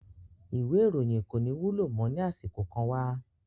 Ìwé ìròyìn kò ní wúlò mọ́ ní àsìkò kan wá